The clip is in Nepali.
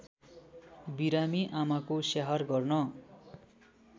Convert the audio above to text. बिरामी आमाको स्याहार गर्न